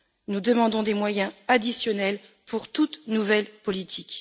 Nous demandons des moyens additionnels pour toute nouvelle politique.